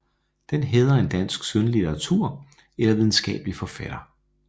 Den hædrer en dansk skønlitterær eller videnskabelig forfatter